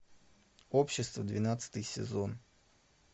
общество двенадцатый сезон